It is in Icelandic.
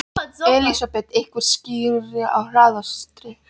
Elísabet: Einhver skýring á hraðakstri?